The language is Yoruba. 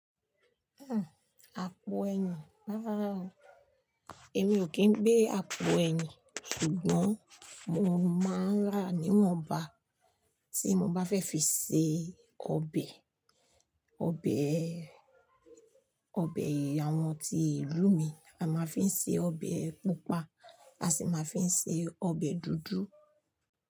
Hmm, àpò ẹ̀yìn, rárá o, èmi ò kí ń gbé àpò ẹ̀yìn, ṣùgbọ́n mo máa ń rà níwọ̀nba tí mo bá fẹ́ fi se ọbẹ̀, ọbẹ̀, ọbẹ̀ àwọn tí ìlú mi a máa fi ń ṣe ọbẹ̀ pupa, a sì máa fi ń ṣe ọbẹ̀ dúdú.